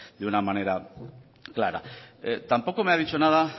de una manera clara tampoco me ha dicho nada